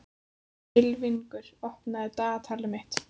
Ylfingur, opnaðu dagatalið mitt.